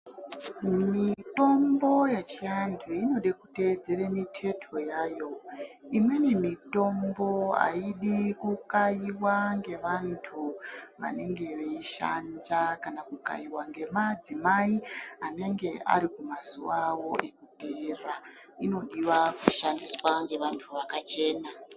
Mitombo yechiantu inoda kuteedzere miteto yayo imweni mitombo ayidi kukaiwa ngevantu ange aidhanja kana kukaiwa ngemadzimai anenge Ari kumazuwa awo ekugera inodiwa kushandiswa ngeantu akachena.